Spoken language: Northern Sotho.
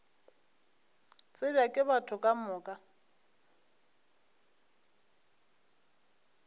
tsebja ke batho ka moka